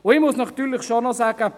Ich muss natürlich schon noch sagen: